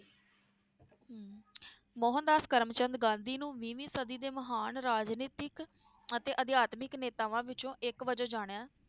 ਮੋਹਨਦਾਸ ਕਰਮਚੰਦ ਗਾਂਧੀ ਨੂੰ ਵੀਵੀਂ ਸਦੀ ਦੇ ਮਹਾਨ ਰਾਜਨੀਤਿਕ ਅਤੇ ਅਧਿਆਤਮਿਕ ਨੇਤਾਵਾਂ ਵਿੱਚੋ ਇਕ ਵਜੋਂ ਜਾਣਿਆ